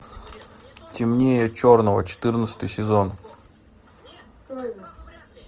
темнее черного четырнадцатый сезон